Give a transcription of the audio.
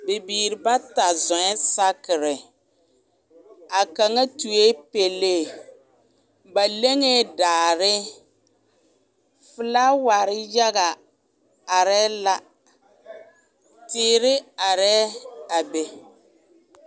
Bibiiri bata zɔŋe saakere a kaŋa tutored pɛlee ba leŋɛɛ daare felaaware yaga arɛɛ la teere arɛɛ a be.